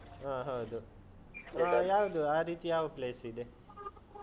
ಹಾ, ಹೌದು. ಆ ಯಾವ್ದು. ಆ ರೀತಿ ಯಾವ place ಇದೆ?